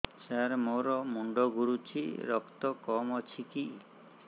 ସାର ମୋର ମୁଣ୍ଡ ଘୁରୁଛି ରକ୍ତ କମ ଅଛି କି